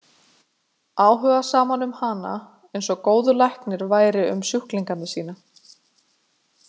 Áhugasaman um hana, eins og góður læknir væri um sjúklinga sína.